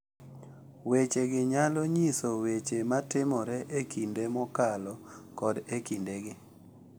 Weche gi nyalo nyiso Weche matimore e kinde mokalo kod e kindegi,